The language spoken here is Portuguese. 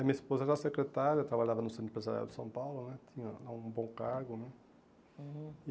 A minha esposa era secretária, trabalhava no centro empresarial de São Paulo, né, tinha lá um bom cargo, né. Uhum